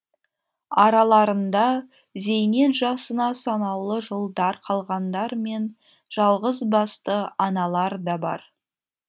араларында зейнет жасына санаулы жылдар қалғандар мен жалғызбасты аналар да бар